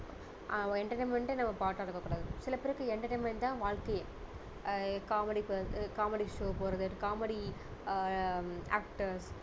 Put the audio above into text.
ஆஹ் entertainment டே நம்ம part டா இருக்க கூடாது சில பேருக்கு entertainment தான் வாழ்க்கையே ஆஹ் comedy comedy show போறது comedy actor